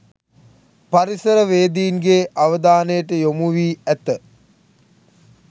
පරිසරවේදීන්ගේ අවධානයට යොමු වී ඇත